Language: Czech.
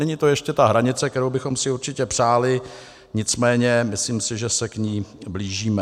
Není to ještě ta hranice, kterou bychom si určitě přáli, nicméně myslím si, že se k ní blížíme.